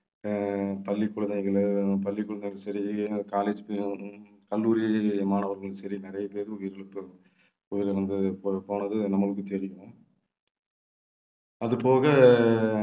அஹ் பள்ளிக்குழந்தைகளும் பள்ளிக்குழந்தைகளும் சரி college கல்லூரி மாணவர்களும் சரி நிறைய பேர் உயிர் இழப்பு வந்து பொறுப்பானது நம்மளுக்கு தெரியும் அது போக